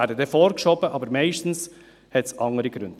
diese werden vorgeschoben, meistens hat es andere Gründe.